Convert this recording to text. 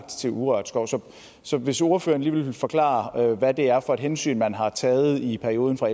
til urørt skov så hvis ordføreren lige vil forklare hvad det er for et hensyn man har taget i perioden fra